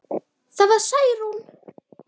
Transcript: Það var Særún.